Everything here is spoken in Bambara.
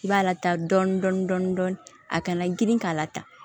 I b'a lataa dɔɔni dɔɔni dɔɔni a kana girin k'a la ta